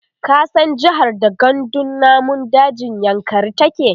ka san jehar da gandun namun dajin yankari take?